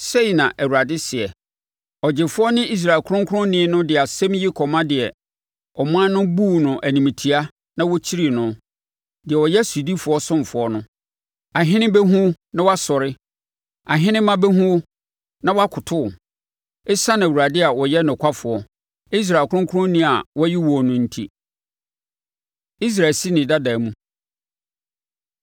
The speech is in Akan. Sei na Awurade seɛ, Ɔgyefoɔ ne Israel Ɔkronkronni no de asɛm yi kɔma deɛ ɔman no buu no animtia na wɔkyirii no, deɛ ɔyɛ sodifoɔ ɔsomfoɔ no: “Ahene bɛhunu wo na wɔasɔre ahenemma bɛhunu wo na wɔakoto wo ɛsiane Awurade a ɔyɛ nokwafoɔ, Israel ɔkronkronni a wayi woɔ no enti.” Israel Si Ne Dada Mu